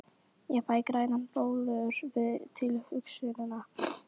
Ég fæ grænar bólur við tilhugsunina!